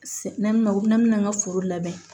Na u bɛna na an ka foro labɛn